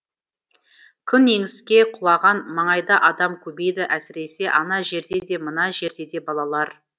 күн еңіске құлаған маңайда адам көбейді әсіресе ана жерде де мына жерде де балалар